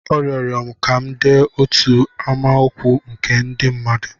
Ọ rịọrọ m ka m dee otu amaokwu nke ndị mmadụ.